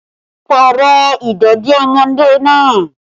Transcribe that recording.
Pààrọ̀ ìdèdí ọmọdé náà!